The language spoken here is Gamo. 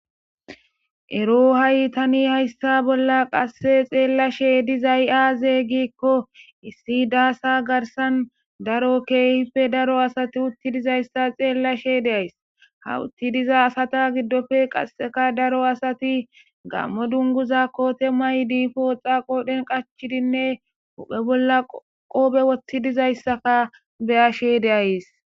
Ero hayi tani hayissa bolla qase xellashe dizzay azze gikko issi daasa garssan daro kehippe daro asayi uttidi dizzayisa xellashe de'ayis ha uttidi dizza asata giddoppe qaseka daro asati gammo dungguza kotte mayidi poxxa qoodhen qachidi huphphe bollaka qobbe woththid dizayisaka beyashe de'ayisi.